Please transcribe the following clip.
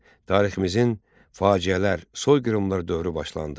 Tariximizin faciələr, soyqırımlar dövrü başlandı.